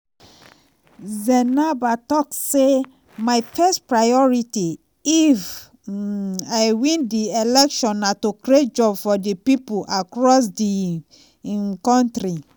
zènaba tok say "my first priority if um i win di election na to create jobs for di pipo across di um kontri."